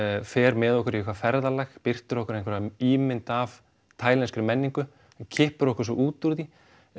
fer með okkur í eitthvað ferðalag birtir okkur einhverja ímynd af menningu og kippir okkur svo út úr því